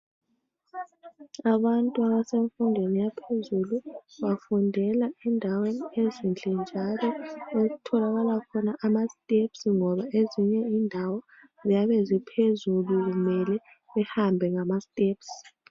abantu abasemfundweni yaphezulu bafundela endaweni ezinhle njalo okutholakala khona ama steps ngoba ezinye indawo ziyabe ziphezulu kumele behambe ngama steps